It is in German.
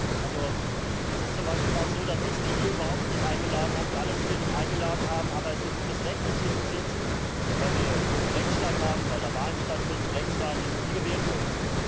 Es ist aber zum Beispiel auch so, dass ich Sie hier überhaupt nicht eingeladen habe, wir alle Sie hier nicht eingeladen haben, aber es Ihr gutes Recht ist, hier zu sitzen, weil wir einen Rechtsstaat haben, weil da Wahlen stattfinden, rechtsstaatlich, und Sie gewählt wurden.